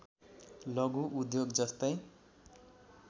लघु उद्योग जस्तै